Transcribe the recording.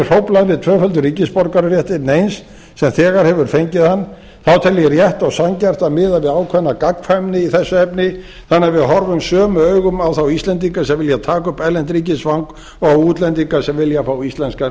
hróflað við tvöföldum ríkisborgararétti neins sem þegar hefur fengið hann þá tel ég rétt og sanngjarnt að miða við ákveðna gagnkvæmni í þessu efni þannig að við horfum sömu augum á þá íslendinga sem vilja taka upp erlent ríkisfang og á útlendinga sem vilja fá íslenskan